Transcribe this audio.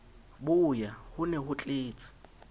boya ho ne ho tletse